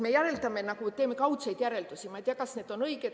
Me järeldame, teeme kaudseid järeldusi, ma ei tea, kas need on õiged.